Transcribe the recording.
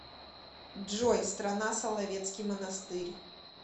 джой страна соловецкий монастырь